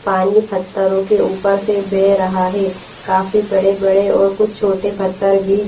पानी फत्थरों के ऊपर से बह रहा है काफी बड़े बड़े और कुछ छोटे फत्थर भी--